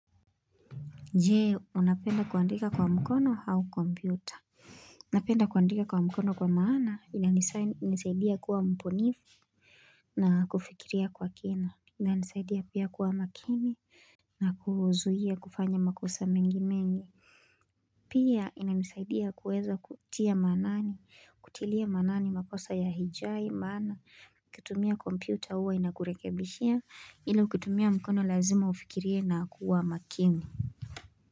Je? Unapenda kuandika kwa mkono au kompyuta Unapenda kuandika kwa mkono kwa maana inanisa inanisaidia kuwa mbonifu na kufikiria kwa kina ina nisaidia pia kuwa makini na kuzuia kufanya makosa mengi mengi. Pia ina nisaidia kuweza kutia maanani kutilia maanani makosa ya hijai maana,, ukitumia kompyuta huwa inakurekebishia ila ukitumia mkono lazima ufikiria na kuwa makini.